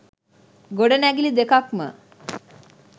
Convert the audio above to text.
ගොඩනැගිලි දෙකක්ම